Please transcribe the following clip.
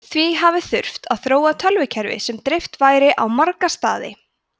því hafi þurft að þróa tölvukerfi sem dreift væri á marga staði